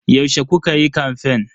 Yaushe kukayi kamfen?